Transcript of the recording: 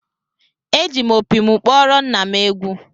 Eji m opi m kpọrọ nna m egwu